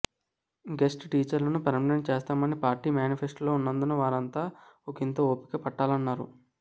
guest టీచర్లను permanent చేస్తామని party మేనిఫెస్టోలో ఉన్నందున వారంతా ఒకింత ఓపిక పట్టాలన్నారు